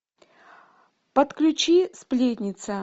подключи сплетница